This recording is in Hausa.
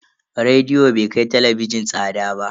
Rediyo bai kai talabijin tsada ba.